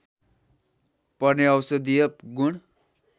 पर्ने औषधिय गुण